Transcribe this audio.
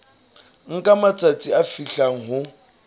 nka matsatsi a fihlang ho